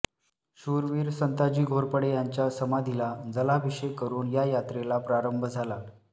शूरवीर संताजी घोरपडे यांच्या समाधीला जलाभिषेक करून या यात्रेला प्रारंभ झाला